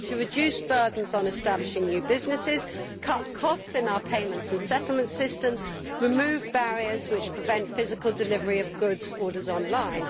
We need to reduce burdens on establishing new businesses, cut costs in our payment and settlement systems, and remove barriers which prevent the physical delivery of goods ordered online.